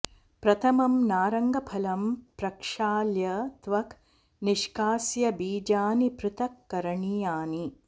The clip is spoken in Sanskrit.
प्रथमम् नारङ्गफलं प्रक्षाल्य त्वक् निष्कास्य बीजानि पृथक् करणीयानि